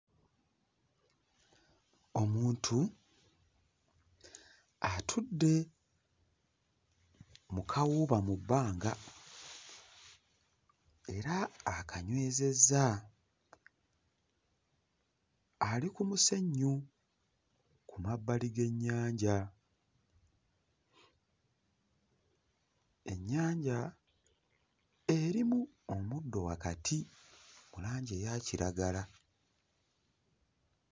Omuntu atudde mu kawuuba mu bbanga era akanywezezza. Ali ku musenyu ku mabbali g'ennyanja, ennyanja erimu omuddo wakati mu langi eya kiragala.